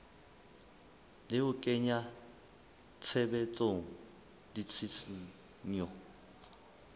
le ho kenya tshebetsong ditshisinyo